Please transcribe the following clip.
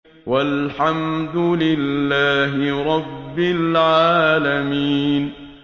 وَالْحَمْدُ لِلَّهِ رَبِّ الْعَالَمِينَ